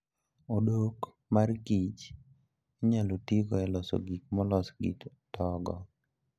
Odok mar Kich inyalo tigo e loso gik molos gi togo.